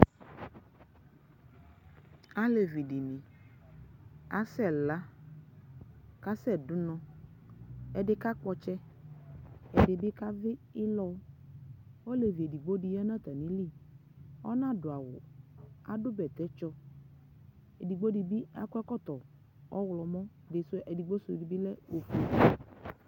Alevi dini asɛla kasɛdu unɔ ɛdi kakpɔ ɔtsɛ ɛdi bi kavi ilɔ ɔlevi edigbo di ya nu atamili ɔnadu awu adu vɛtɛtsɔ edigbo di bi akɔ ɛkɔtɔ ɔɣlɔmɔ edigbo su di bi lɛ ofue